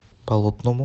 болотному